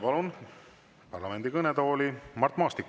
Palun parlamendi kõnetooli Mart Maastiku.